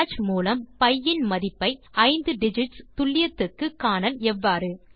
Sage மூலம் pi இன் மதிப்பை 5 டிஜிட்ஸ் துல்லியத்துக்கு காணல் எவ்வாறு